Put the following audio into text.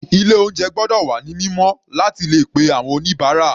Ilé oúnjẹ gbọ́dọ̀ wà ní mímọ́ láti le pe àwọn oníbàárà.